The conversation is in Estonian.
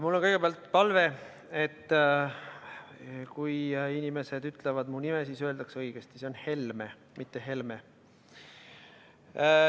Mul on kõigepealt palve, et kui inimesed ütlevad mu nime, siis öeldakse seda õigesti: see on Helme , mitte Helme .